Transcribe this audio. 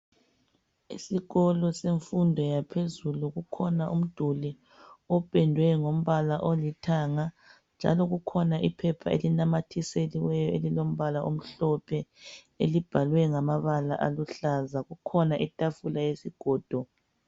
Esikolo semfundo yaphezulu kukhona umduli opendwe ngombala olithanga njalo kukhona iphepha elinamathiselweyo elilombala omhlophe elibhalwe ngamabala aluhlaza. Kukhona itafula yesigodo.